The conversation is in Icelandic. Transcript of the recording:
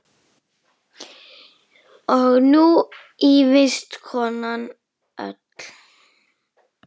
Og nú ýfist konan öll.